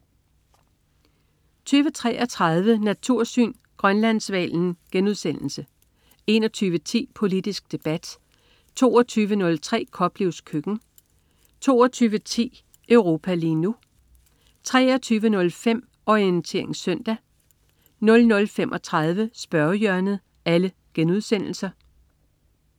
20.33 Natursyn. Grønlandshvalen* 21.10 Politisk debat* 22.03 Koplevs køkken* 22.10 Europa lige nu* 23.05 Orientering søndag* 00.35 Spørgehjørnet*